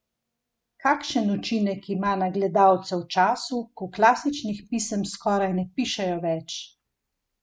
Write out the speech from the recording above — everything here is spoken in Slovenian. Kakšen učinek ima na gledalce v času, ko klasičnih pisem skoraj ne pišejo več?